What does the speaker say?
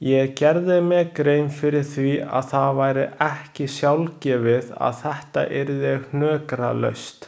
Ég gerði mér grein fyrir því að það væri ekki sjálfgefið að þetta yrði hnökralaust.